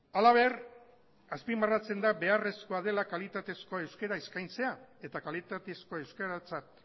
halaber azpimarratzen da beharrezkoa dela kalitatezko euskara eskaintzea eta kalitatezko euskaratzat